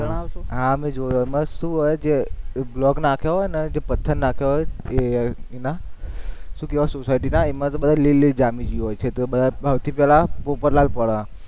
હા મેં જોયું એમાં શું હોય છે એ block નાખ્યો હોય ને પથ્થર નાખ્યો હોય એ એના શું કહેવાય સોસાઈટીના એમાં લીલ જામી ગયું હોય છે, તો એમાં સૌથી પેલા પોપટલાલ પડે.